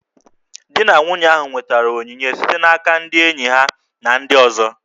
Di na nwunye ahụ nwetara onyinye site n'aka ndị enyi ha na ndị ọzọ